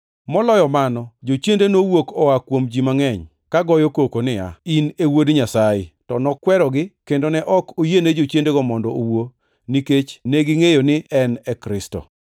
Moloyo mano, jochiende nowuok oa kuom ji mangʼeny, ka goyo koko niya, “In e Wuod Nyasaye!” To nokwerogi kendo ne ok oyiene jochiendego mondo owuo nikech negingʼeyo ni en e Kristo.